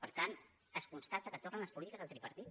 per tant es constata que tornen les polítiques del tripartit